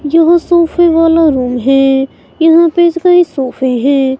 ये सोफे वाला रूम है यहां पे कई सोफे हैं.